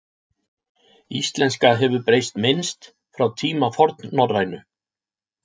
Íslenska hefur breyst minnst frá tíma fornnorrænu.